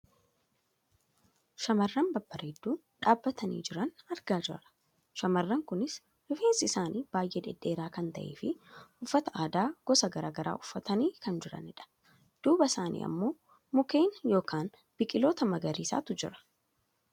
shamarran babbareedduu dhaabbatanii jiran argaa jirra. shamarran kunis rifeensi isaanii baayyee dhedheeraa kan ta'eefi uffata aadaa gosa gara garaa uffatanii kan jiranidha. duuba isaanii ammoo mukeen yookaan biqiltoota magariisaatu jira.